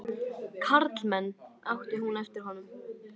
Karlmenn! át hún eftir honum.